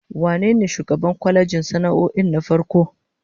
Wane ne shugaban kwalejin sana'o'in na farko?